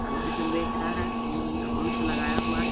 आदमी जो बेच रहा है मुंह में मास्क लगाया हुआ है।